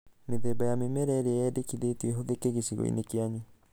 Mĩthemba ya mĩmera ĩrĩa yendĩkithĩtio ĩhũthĩke gĩcigo-inĩ kĩanyu.